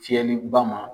Fiyɛliba ma